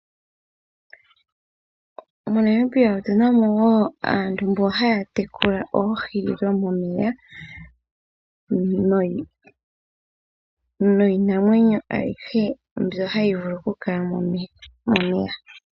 MoNamibia otu na wo aantu mbo ha ya tekula oohi dhomeya niinamwenyo ayihe mbyoka ha yi vulu okukala momeya.